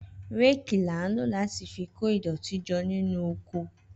Réèkì là ń lò láti fi ko ìdọ̀tí jọ nínú oko